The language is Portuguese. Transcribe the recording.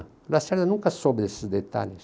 O Lacerda nunca soube desses detalhes.